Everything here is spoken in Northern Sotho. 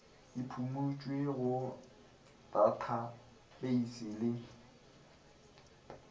e phumutšwe go tathapeisi le